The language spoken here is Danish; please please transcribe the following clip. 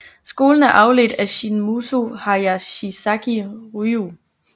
Skolen er afledt af Shin Muso Hayashizaki Ryu